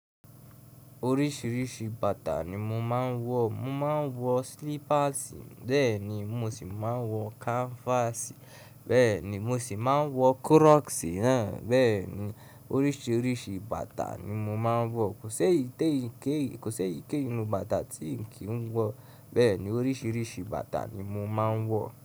Oríṣìíríṣìí bàtà ni mo máa ń wọ. Mo máa ń wọ slippers, bẹ́ẹ̀ ni mo sì máa ń wọ kanfaasi, bẹ́ẹ̀ ni mo sì máa ń wọ crocs náà. Bẹ́ẹ̀ ni, oríṣìíríṣìí bàtà ni mo máa ń wọ. Ko s'eyi keyii Kò sé ìké ìnu bàtà tí n kì ń wọ, bẹ́ẹ̀ ni oríṣìíríṣìí bàtà ni mo máa ń wọ.